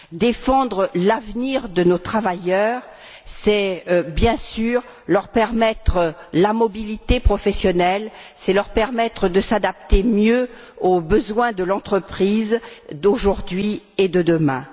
Défendre l'avenir de nos travailleurs, c'est, bien sûr, leur offrir la mobilité professionnelle, c'est leur permettre de mieux s'adapter aux besoins de l'entreprise d'aujourd'hui et de demain.